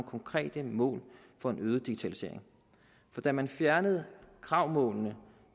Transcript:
konkrete mål for en øget digitalisering for da man fjernede kravmålene